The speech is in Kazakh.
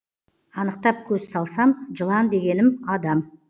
анықтап көз салсам жылан дегенім адам